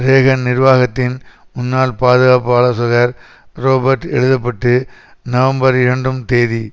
Reagan நிர்வாகத்தின் முன்னாள் பாதுகாப்பு ஆலோசகர் றொபர்ட் எழுத பட்டு நவம்பர்இரண்டும் தேநி